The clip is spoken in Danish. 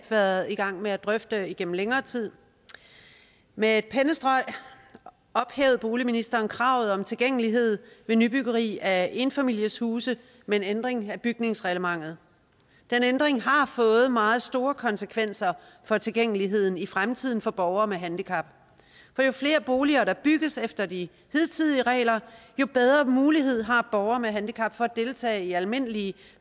været i gang med at drøfte det igennem længere tid med et pennestrøg ophævede boligministeren kravet om tilgængelighed ved nybyggeri af enfamilieshuse med en ændring af bygningsreglementet den ændring har fået meget store konsekvenser for tilgængeligheden i fremtiden for borgere med handicap for jo flere boliger der bygges efter de hidtidige regler jo bedre muligheder har borgere med handicap for at deltage i almindelige